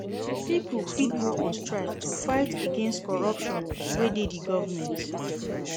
Pipo fit go on strike to fight against corruption wey de di government